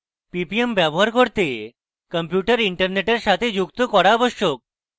ppm ব্যবহার করতে computer internet সাথে যুক্ত করা আবশ্যক